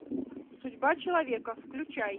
судьба человека включай